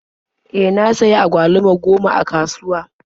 E, na sayi agwaluma goma a kasuwa.